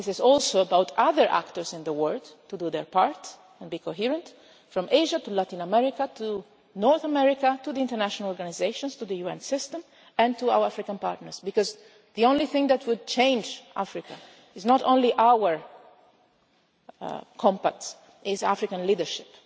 part. This is also about other actors in the world doing their part and being coherent, from Asia to Latin America, to North America and the international organisations, to the UN system and to our African partners, because the only thing that would change Africa is not only our compacts, it is African leadership.